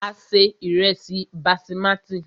A se ìrẹ́sí basimati.